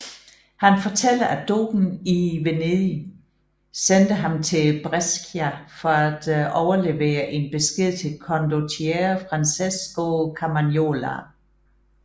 Han fortæller at dogen i Venedig sendte ham til Brescia for at overlevere en besked til condottiere Francesco Carmagnola